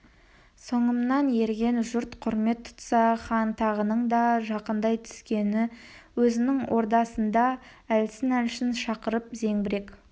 соңымнан ерген жұрт құрмет тұтса хан тағының да жақындай түскені өзінің ордасына да әлсін-әлсін шақырып зеңбірек